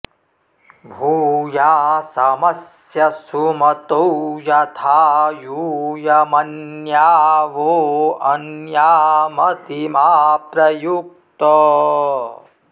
भू॒यास॑मस्य सुम॒तौ यथा॑ यू॒यम॒न्या वो॑ अ॒न्यामति॒ मा प्र यु॑क्त